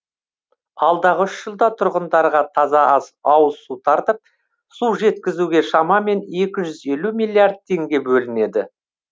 алдағы үш жылда тұрғындарға таза ауызсу тартып су жеткізуге шамамен екі жүз елу миллиард теңге бөлінеді